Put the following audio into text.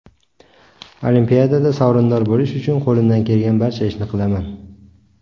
Olimpiadada sovrindor bo‘lish uchun qo‘limdan kelgan barcha ishni qilaman.